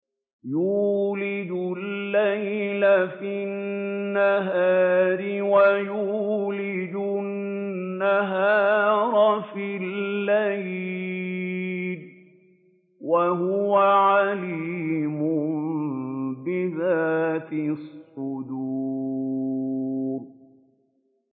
يُولِجُ اللَّيْلَ فِي النَّهَارِ وَيُولِجُ النَّهَارَ فِي اللَّيْلِ ۚ وَهُوَ عَلِيمٌ بِذَاتِ الصُّدُورِ